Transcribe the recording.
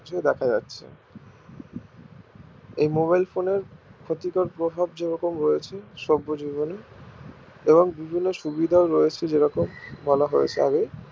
দেখা যাচ্ছে এই mobile phone এর ক্ষতিকর প্রভাব যেরকম রয়েছে সভ্য জীবনে এবং বিভিন্ন সুবিধাও রয়েছে যেরকম বলা হয়ছে আগেই